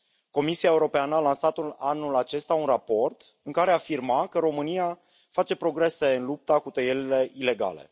Comisia Europeană a lansat anul acesta un raport în care afirma că România face progrese în lupta cu tăierile ilegale.